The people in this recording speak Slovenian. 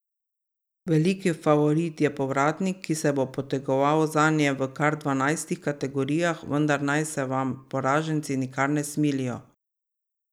Veliki favorit je Povratnik, ki se bo potegoval zanje v kar dvanajstih kategorijah, vendar naj se vam poraženci nikar ne smilijo.